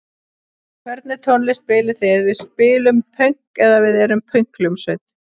Hvernig tónlist spilið þið?: Við spilum pönk! eða Við erum pönkhljómsveit.